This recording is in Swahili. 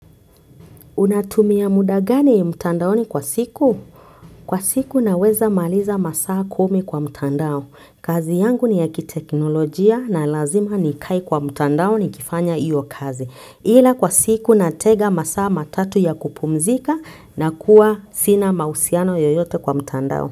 Unatumia muda gani mtandaoni kwa siku? Kwa siku naweza maliza masaa kumi kwa mtandao. Kazi yangu ni ya kiteknolojia na lazima nikae kwa mtandao nikifanya hiyo kazi ila kwa siku natenga masaa matatu ya kupumzika na kuwa sina mahusiano yoyote kwa mtandao.